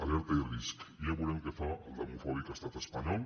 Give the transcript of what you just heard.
alerta i risc ja veurem què fa el demofòbic estat espanyol